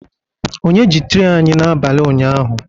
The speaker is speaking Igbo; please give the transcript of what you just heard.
Onye ji tray anyị n'abalị ụnyaahụ?